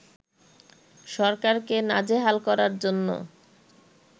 সরকারকে নাজেহাল করার জন্য